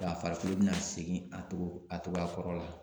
A farikolo bɛna segin a cogo a cogoya kɔrɔ la.